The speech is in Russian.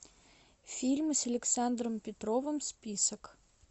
фильм с александром петровым список